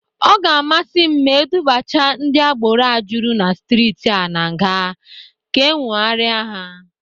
Ọ ga-amasị m ma e dubacha ndị agbero a jụrụ na strịtị a na nga ka ewogharịa ha.